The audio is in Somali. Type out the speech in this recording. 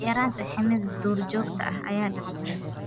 yaraanta shinni duurjoogta ah ayaa dhacda.